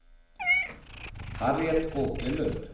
Harriet Åkerlund